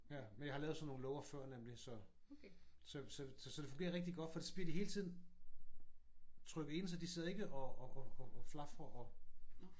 Men jeg har lavet sådan nogle låger før nemlig. Så så så det fungerer rigtig godt for så bliver de hele tiden trykket ind så de sidder ikke og flafrer og